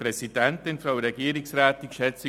Kommissionsprecher